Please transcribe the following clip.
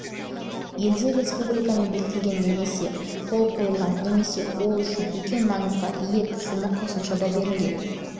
елде қазақстан республикасымен бекітілген немесе қол қойылған немесе ел үшін үлкен маңызға ие тізімі қосымшада берілген